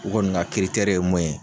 U kɔni ka ye mun ye.